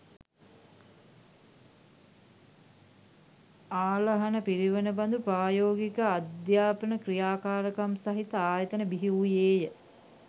ආලාහන පිරිවෙන බඳු ප්‍රායෝගික අධ්‍යාපන ක්‍රියාකාරකම් සහිත ආයතන බිහිවූයේ ය.